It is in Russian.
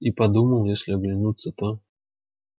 и подумал если оглянутся то